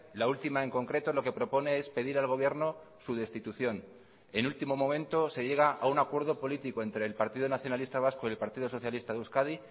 la última en concreto lo que propone es pedir al gobierno su destitución en último momento se llega a un acuerdo político entre el partido nacionalista vasco y el partido socialista de euskadi